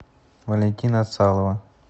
валентина цалова